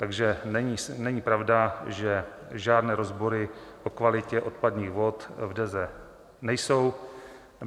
Takže není pravda, že žádné rozbory o kvalitě odpadních vod v Deze nejsou.